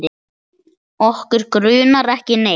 Okkur grunar ekki neitt.